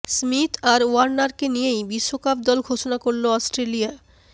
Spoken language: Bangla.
স্মিথ আর ওয়ার্নারকে নিয়েই বিশ্বকাপ দল ঘোষণা করল অস্ট্রেলিয়া